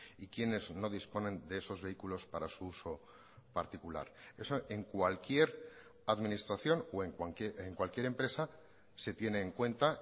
y quienes no disponen de esos vehículos para su uso particular eso en cualquier administración o en cualquier empresa se tiene en cuenta